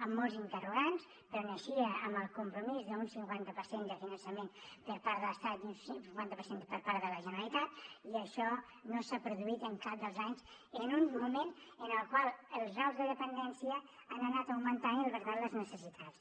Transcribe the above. amb molts interrogants però naixia amb el compromís d’un cinquanta per cent de finançament per part de l’estat i un cinquanta per cent per part de la generalitat i això no s’ha produït en cap dels anys en un moment en el qual els graus de dependència han anat augmentant i per tant les necessitats